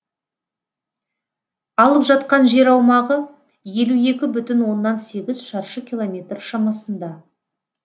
алып жатқан жер аумағы елу екі бүтін оннан сегіз шаршы километр шамасында